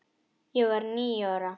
Ég var níu ára.